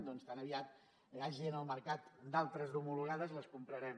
doncs tan aviat n’hi hagi en el mercat d’altres d’homologades les comprarem